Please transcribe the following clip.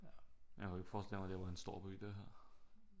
Jeg kan jo ikke forestille mig at det var en stor by det her